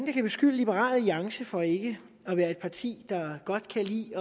kan beskylde liberal alliance for ikke at være et parti der godt kan lide